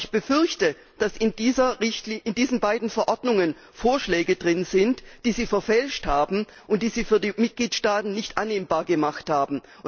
Aber ich befürchte, dass in diesen beiden Verordnungen Vorschläge enthalten sind, die sie verfälscht haben und die sie für die Mitgliedstaaten nicht annehmbar gemacht haben.